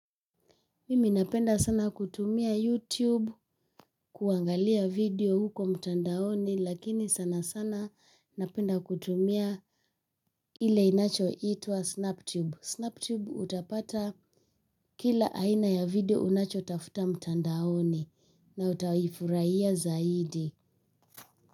Mimi napenda sana kutumia youtube kuangalia video huko mtandaoni lakini sana sana napenda kutumia ile inachoitwa snap tube snap tube utapata kila aina ya video unachotafuta mtandaoni na utaifurahia zaidi.